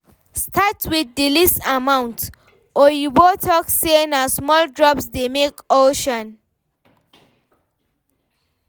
Start with the least amount, oyibo talk say na small drops dey make ocean